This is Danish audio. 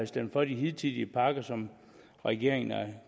stemt for de hidtidige pakker som regeringen er